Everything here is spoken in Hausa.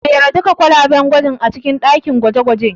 Jera duka kwalaben gwajin a cikin ɗakin gwaje-gwajen.